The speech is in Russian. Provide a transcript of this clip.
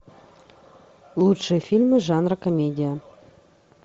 лучшие фильмы жанра комедия